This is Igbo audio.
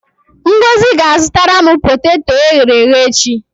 Ngozi ga-azụtara m poteto e ghere-eghe echi.